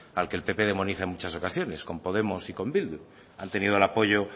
al que el pp demoniza en muchas ocasiones con podemos y con bildu han tenido el apoyo